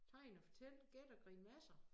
Tegn og fortæl gæt og grimasser